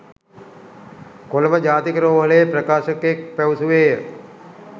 කොළඹ ජාතික රෝහලේ ප්‍රකාශකයෙක් පැවසුවේය.